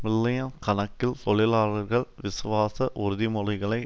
million கணக்கில் தொழிலாளர்கள் விசுவாச உறுதிமொழிகளை